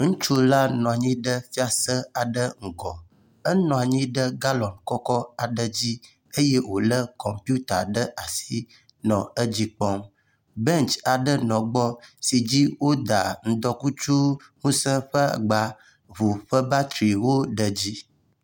Ŋutsu aɖe bɔbɔnɔ xexe le agbadɔ te ke kplɔ aɖe le egbɔa wo le nu dzram le dzi ke mɔ aɖe yi za ŋudɔ kɔ nana akaɖi hã le egbɔ eye woƒo ka aɖe wo kple mɔ bubu kɔde zikpui dzi le egbɔ.